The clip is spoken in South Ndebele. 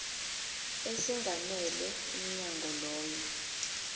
esingamele umnyango loyo